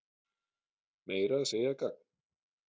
Meira að segja gagn.